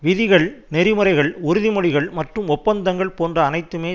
விதிகள் நெறி முறைகள் உறுதி மொழிகள் மற்றும் ஒப்பந்தங்கள் போன்ற அனைத்துமே